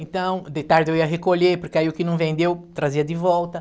Então, de tarde eu ia recolher, porque aí o que não vendeu, trazia de volta.